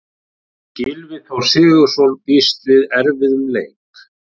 Gylfi Þór Sigurðsson býst við erfiðum leik.